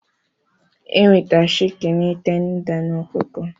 enweta Shịkịni tenda